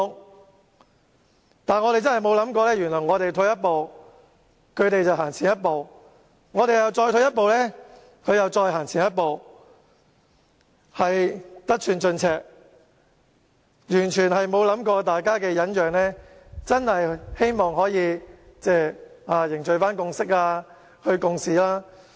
然而，我們真的沒有想過，原來我們退一步，他們便走前一步；我們再退一步，他們會再走前一步，得寸進尺，完全沒有考慮過大家的忍讓，是希望可以凝聚共識、一起共事。